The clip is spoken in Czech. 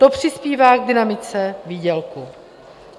To přispívá k dynamice výdělků.